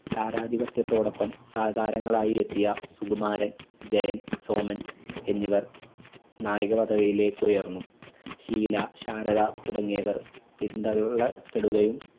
താരാധിപത്യത്തോടൊപ്പം സഹതാരങ്ങളായി എത്തിയ സുകുമാരൻ ജയൻ സോമൻ എന്നിവർ നായക പദവിയിലേക്ക് ഉയർന്നു. ഷീല ശാരദ തുടങ്ങിയവർ പിന്തള്ളപ്പെടുകയും